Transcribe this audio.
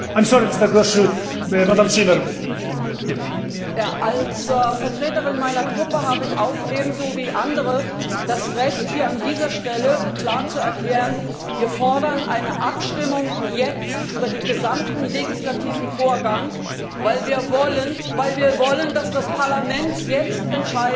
Als Vertreterin meiner Fraktion habe ich auch ebenso wie andere das Recht, hier an dieser Stelle klar zu erklären Wir fordern eine Abstimmung, jetzt, über den gesamten legislativen Vorgang, weil wir wollen, dass das Parlament jetzt entscheidet und nicht eine Verzögerungstaktik angewandt wird.